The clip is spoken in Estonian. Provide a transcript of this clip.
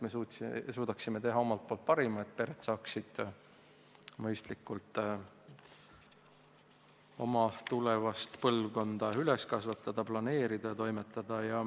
Me tahame anda omalt poolt parima, et pered saaksid mõistlikult oma tulevast põlvkonda üles kasvatada, planeerida, toimetada.